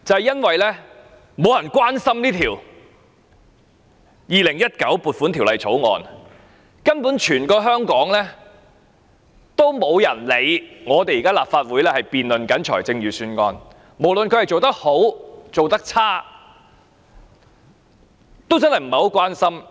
因為沒有人關心這項《2019年撥款條例草案》，根本全香港也沒有人理會立法會正辯論財政預算案，無論他做得好或做得差，也不大關心。